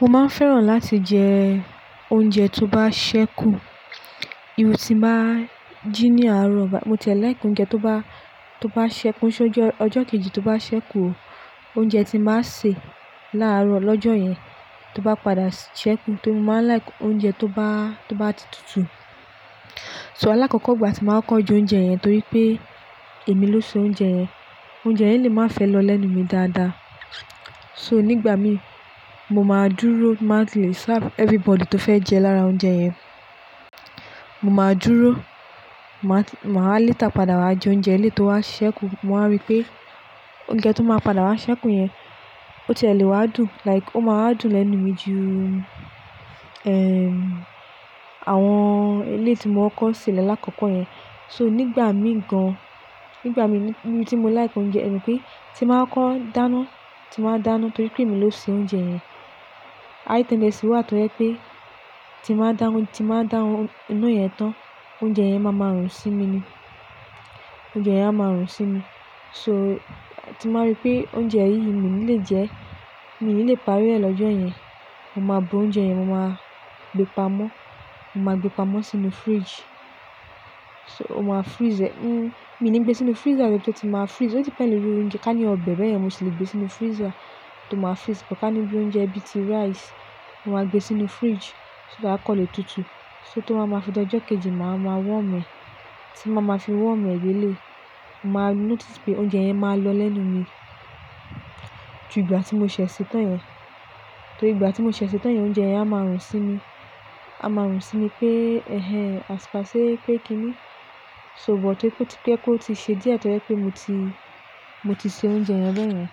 Mo máa ń fẹ́ràn láti jẹ oúnjẹ tó bá ṣẹ́kù, ìru tí ń bá jí ní àárọ̀ bá í, mo tiẹ̀ like oúnjẹ tó bá, tó bá ṣẹ́kù, kò ṣé oúnjẹ ọjọ́ kejì tó bá ṣẹ́kù o, oúnjẹ tí bá sè láàárọ̀ lọ́jọ́ yẹn tó bá padà ṣẹ́kù torí mo máa ń like oúnjẹ tó bá, tó bá ti tutù. So, alákọ̀kọ́ ìgbà tí màá kọ́kọ́ jẹ oúnjẹ yẹn torí pé èmi ló sè oúnjẹ yẹn. Oúnjẹ yẹn lè máa fẹ́ lọ lẹ́nu mi dáadáa. So, nígbà mi, mo máa dúró, tí ń bá ti lè serve everybody tó fẹ́ jẹ lára oúnjẹ yẹn. Mo máa dúró, màá, màá léta padà wá jẹ oúnjẹ e lé e tó wá ṣẹ́kù. Mo máa rí pé oúnjẹ tó máa padà wá ṣẹ́kù yẹn ó ti ẹ̀ lè wá dùn, like ó máa wa dùn lẹ́nu mi ju, ehm, àwọn è lé è tí mo kọ́kọ́ ṣe lalákọ̀kọ́ yẹn. So, nígbà mi gan-an, nígbà mí níbi tí mo like oúnjẹ, ẹ mọ pé tí ń bá kọ́kọ́ dáná, tí ń bá dáná torí pé èmi ló sè oúnjẹ yẹn. High tendency wà tó jẹ́ pé tí ń bá dá, tí ń bá dá iná yẹn tán, oúnjẹ yẹn máa má rùn sí mi ni. Oúnjẹ yẹn a máa rùn sí mi. So tí ń bá rí pé oúnjẹ yìí mi ò ní lè jẹ ẹ́, mi ò ní lè parí rẹ̀ lọ́jọ́ yẹn, mo máa bu oúnjẹ yẹn, mo máa gbé pamọ́, mo máa gbé pamọ́ sínú fridge. So, o máa freeze ẹ̀. Mi ò ní gbé sínú freezer níbi tó tí màá freeze. Ó depend lórí oúnjẹ. Ká ní ọbẹ̀ bẹ́ẹ̀ yẹn, mo sì lè gbé sínú freezer tó màá freeze. Ká ní bí oúnjẹ bíi ti rice, mo máa gbé sínú fridge, so that a kàn lè tutù. So, tó bá màá fi di ọjọ́ kejì, màá ma warm ẹ. Tí ń bá màá fi warm ẹ bí e lé e, mo máa notice pé oúnjẹ yẹn máa lọ lẹ́nu mi ju ìgbà tí mo sè ṣe tán yẹn. Torí ìgbà tí mo ṣè se tán yẹn oúnjẹ yẹn a máa rùn sí mi. A máa rùn sí mi pé "ẹhẹn, as per say pé kíni?" So but pé kó ti ṣe díẹ̀ torí pé mo ti, mo ti sè oúnjẹ yẹn bẹ́ẹ̀ yẹn.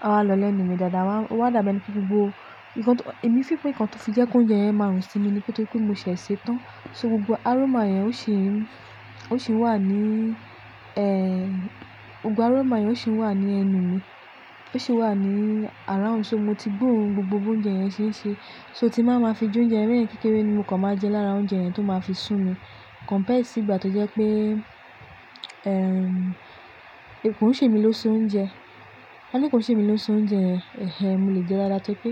A máa lọ lẹ́nu mi dáadáa, ó máa dàbí ẹni pé gbogbo nǹkan tó, èmi fífún nǹkan tó fi jẹ́ kó oúnjẹ yẹn máa rùn sí mi ni pẹ́to pé mo ṣè ẹ́ ṣe tán. So gbogbo aroma yẹn ó sì ń, ó sì ń wà ní, eh, gbogbo aroma yẹn ó sì ń wà ní ẹnu mi. Ó sì wà ní around. So mo ti gbọ́rùn gbogbo oúnjẹ yẹn ṣé ṣe. So tí màá ma fi jó oúnjẹ yẹn kékeré ni mo kàn máa jẹ lára oúnjẹ yẹn tó máa fi sùn mi. Compared sí ìgbà tó jẹ́ pé, ehm, kò ń ṣe mi ló sè oúnjẹ. Ká ní kò ń ṣe mi ló sè oúnjẹ yẹn, "ẹhẹn, mo lè jẹ dáadáa" torí pé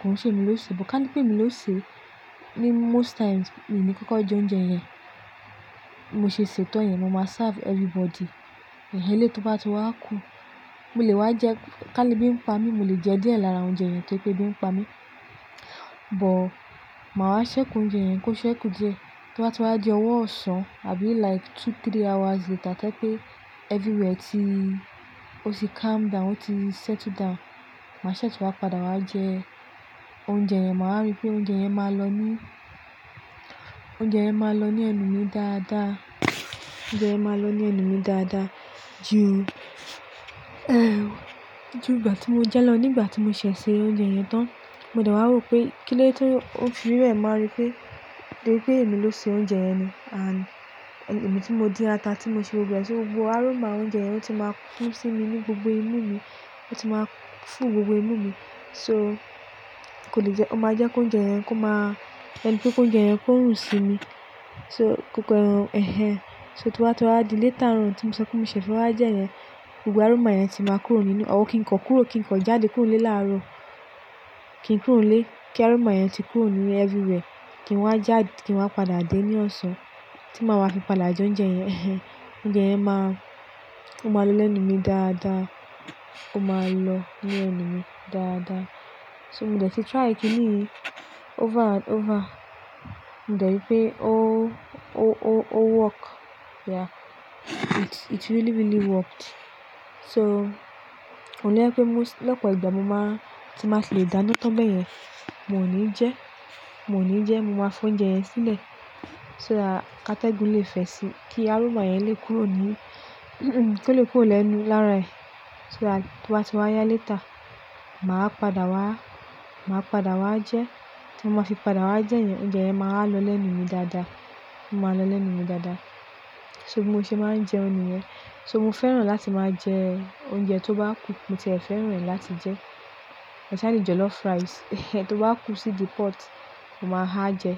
kò ń ṣe mi ló sè é. But ká ní pé mi ló sè ẹ́, ní most times, mi ní kíkọ jó oúnjẹ yẹn, mo ṣe sè tán yẹn, mo máa serve everybody. Eléèti tó bá ti wá kú, mo lè wá jẹ́ ká ní bí ń pa mí, mo lè jẹ díẹ̀ lára oúnjẹ yẹn torí pé bí ń pa mí. But màá wá ṣẹ́kù oúnjẹ yẹn kó ṣẹ́kù díẹ̀. Tí wọ́n bá ti wá jẹ ọwọ́ ọ̀sán àbí like two, three hours later tóyẹ pé everywhere ti ó ti calm down, ó ti settle down, màá ṣẹ̀ tó bá padà wá jẹ oúnjẹ yẹn, màá rí pé oúnjẹ yẹn máa lọ ní, oúnjẹ yẹn máa lọ ní ẹnu mi dáadáa. Oúnjẹ yẹn máa lọ ní ẹnu mi dáadáa ju, ju ìgbà tí mo jẹ lọ. Ní ìgbà tí mo ṣè se oúnjẹ yẹn tán, mo dẹ̀ wá rò pé kí lẹ́ tí o fi rẹ̀ ń máa rí pé, pé ó pé èmi ló sè oúnjẹ yẹn ni, and èmi tí mo dín ata, tí mo ṣe gbogbo ẹ́. So gbogbo aroma oúnjẹ yẹn ó ti máa fún sí mi ní gbogbo inú mi. Ó ti máa fún gbogbo inú mi. So kò lè jẹ́, ó máa jẹ́ kó oúnjẹ yẹn kó má, ẹni pé kó oúnjẹ yẹn kó rùn sí mi. So kò pẹ́ ràn, "ẹhẹn". So tí wọ́n bá tó wá di léta rùn tí mo sọ pé mo ṣẹ̀ fún wá jẹ́ yẹn, gbogbo aroma yẹn ti máa kúrò nínú, ọr kí n kọ kúrò, kí n kọ jáde kúrò lẹ́ẹ̀ láàárọ̀. Kí n kúrò lẹ́ẹ̀ kí aroma yẹn ti kúrò nínú everywhere. Kí n wá já, kí n wá padà dé ní ọ̀sán tí màá wá fi padà jẹ oúnjẹ yẹn, "ẹhẹn", oúnjẹ yẹn máa, ó máa lọ lẹ́nu mi dáadáa. Ó máa lọ ní ẹnu mi dáadáa. So mo ti try kìíní over and over. Mo dẹ̀ rí pé ó, ó, ó work. Yeah, it, it really, really worked. So kò ní jẹ́ pé mó lọ́pọ̀ ìgbà mo máa, tí màá fi lè dáná tán bẹ́ẹ̀ yẹn, mò ní jẹ́. Mò ní jẹ́, mo máa fọ́n oúnjẹ yẹn sílẹ̀. So ká tẹ́gun lè fẹ̀ sí i kí aroma yẹn lè kúrò ní, kí ó lè kúrò lẹ́nu lára ẹ̀. So tí wọ́n bá ti wá yá léta, màá padà wá, màá padà wá jẹ. Tí mo máa fi padà wá jẹ yẹn, oúnjẹ yẹn máa lọ lẹ́nu mi dáadáa. Ó máa lọ lẹ́nu mi dáadáa. So mo ṣe máa ń jẹun nìyẹn. So mo fẹ́ràn láti máa jẹ oúnjẹ tó bá kù. Mo tiẹ̀ fẹ́ràn rẹ̀ láti jẹ. Ẹ̀ṣpecially jollof rice, ehẹ, tó bá kú sí ìdí pot, mo máa ha jẹ.